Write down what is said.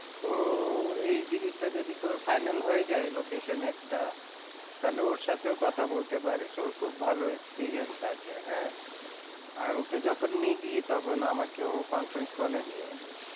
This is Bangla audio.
ও এই জিনিসটা যদি তোর final হয়ে যায় location এর টা তাহলে ওর সাথেও কথা বলতে পারিস ওর খুব ভালো experience আছে হ্যাঁ, আর ওকে যখন নিবি তখন আমাকেও conference call এ নিয়ে নিস।